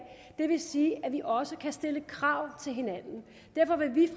det vil sige at vi også kan stille krav til hinanden derfor vil vi